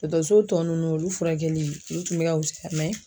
Dɔtɔrɔso tɔ nunnu olu furakɛli olu tun bɛ ka wusaya